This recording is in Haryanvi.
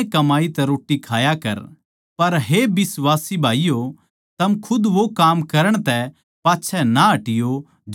पर हे बिश्वासी भाईयो थम खुद वो काम करण तै पाच्छै ना हटियो जो सही अर भले सै